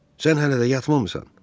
Sən hələ də yatmamısan?